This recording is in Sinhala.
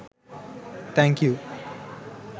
thank you